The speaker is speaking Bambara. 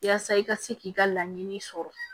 Yaasa i ka se k'i ka laɲini sɔrɔ